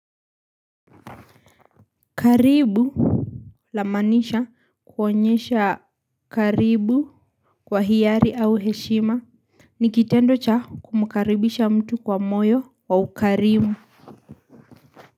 Karibu la maanisha kuonyesha karibu kwa hiari au heshima ni kitendo cha kumkaribisha mtu kwa moyo wa ukarimu.